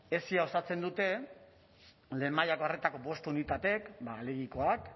esi osatzen dute lehen mailako arretako bost unitatek alegikoak